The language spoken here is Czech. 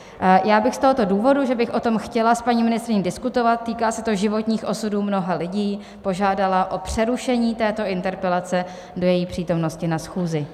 Já bych z tohoto důvodu, že bych o tom chtěla s paní ministryní diskutovat - týká se to životních osudů mnoha lidí - požádala o přerušení této interpelace do její přítomnosti na schůzi.